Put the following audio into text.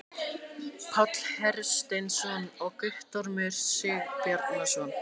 páll hersteinsson og guttormur sigbjarnarson